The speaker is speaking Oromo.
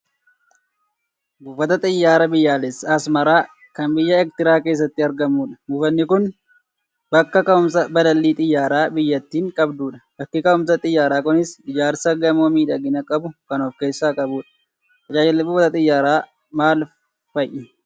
Buufata Xiyyaaraa biyyoolessaa Asmaraa kan biyya Eertiraa keessatti argamudha. Buufanni kun bakka ka'umsa balallii xiyyaaraa biyyattiin qabdudha. Bakki ka'umsa xiyyaaraa kunis ijaarsa gamoo miidhagina qabu kan of keessaa qabudha. Tajaajilli buufata Xiyyaaraa maal fa'i?